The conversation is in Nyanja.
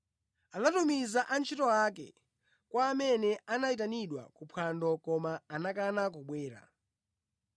Anatumiza antchito ake kwa amene anayitanidwa kuphwando koma anakana kubwera.